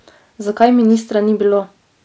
Zakaj ministra ni bilo?